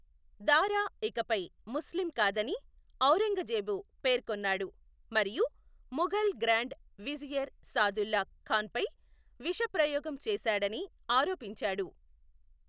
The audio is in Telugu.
దారా ఇకపై ముస్లిం కాదని ఔరంగజేబు పేర్కొన్నాడు మరియు ముఘల్ గ్రాండ్ విజియర్ సాదుల్లా ఖాన్పై విషప్రయోగం చేశాడని ఆరోపించాడు.